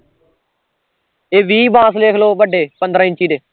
ਤੇ ਵੀਹ ਬਾਂਸ ਲਿਖਲੋ ਵੱਡੇ ਪੰਦਰਾਂ ਇੰਚੀ ਦੇ